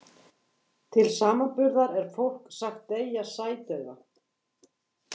Til samanburðar er fólk sagt deyja sædauða.